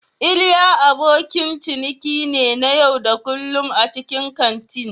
Iliya abokin ciniki ne na yau da kullun a cikin kantin.